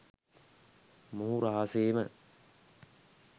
මොහු රහසේම